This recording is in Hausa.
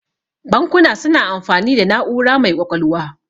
Bankuna suna amfani da na'ura mai ƙwaƙwalwa.